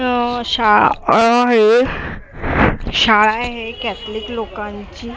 अ शा अ हे शाळा आहे कॅथलिक लोकांची जी --